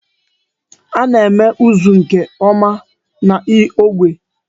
A na-eme ụzụ nke ọma n'ógbè.